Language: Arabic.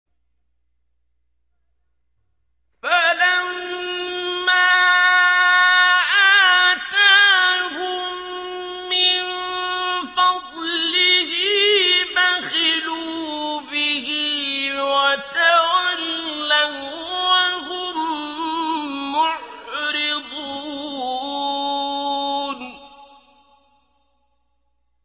فَلَمَّا آتَاهُم مِّن فَضْلِهِ بَخِلُوا بِهِ وَتَوَلَّوا وَّهُم مُّعْرِضُونَ